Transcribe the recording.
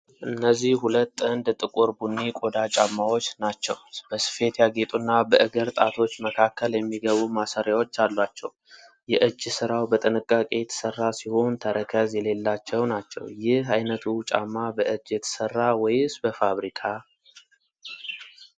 እነዚህ ሁለት ጥንድ ጥቁር ቡኒ ቆዳ ጫማዎች ናቸው። በስፌት ያጌጡና በእግር ጣቶች መካከል የሚገቡ ማሰሪያዎች አሏቸው። የእጅ ሥራው በጥንቃቄ የተሰራ ሲሆን፣ ተረከዝ የሌላቸው ናቸው። ይህ አይነቱ ጫማ በእጅ የተሰራ ወይስ በፋብሪካ?